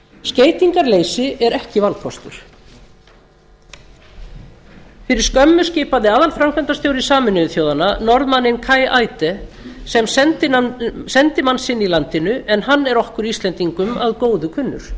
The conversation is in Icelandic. skeytingarleysi er ekki valkostur fyrir skömmu skipaði aðalframkvæmdastjóri sameinuðu þjóðanna norðmanninn kai eide sem sendimann sinn í landinu en hann er okkur íslendingum að góðu kunnur